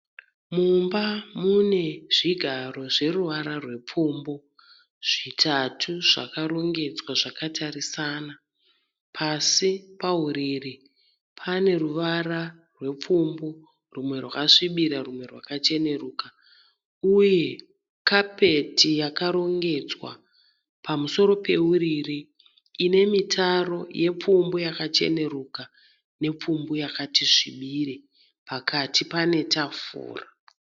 Mumba mune zvigaro zveruvara rwepfumbu zvitatu zvakarongedzwa zvakatarisana . Pasi pauriri pane ruvara rwepfumbu rumwe rwakasvibira rumwe rwakacheneruka uye kapeti yakarongedzwa pamusoro peuriri ine mitaro yepfumbu yakacheneruka nepfumbu yakati svibire. Pakati pane tafura.